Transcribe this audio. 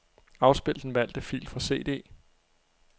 Afspil den valgte fil fra cd.